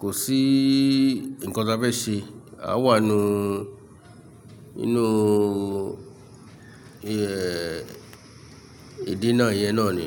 kò sí nǹkan tí a fẹ́ ṣe, a wà n nú inú ìdí náà iyẹn náà ni.